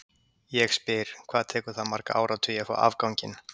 Ég spyr, hvað tekur það marga áratugi að fá afganginn?